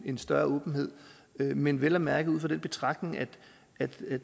en større åbenhed men vel at mærke ud fra den betragtning at